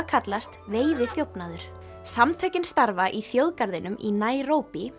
kallast veiðiþjófnaður samtökin starfa í þjóðgarðinum í